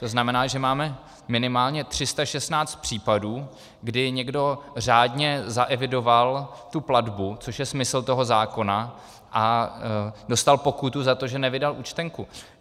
To znamená, že máme minimálně 316 případů, kdy někdo řádně zaevidoval tu platbu, což je smysl toho zákona, a dostal pokutu za to, že nevydal účtenku.